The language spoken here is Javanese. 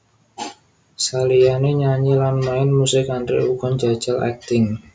Saliyané nyanyi lan main musik Andre uga njajal akting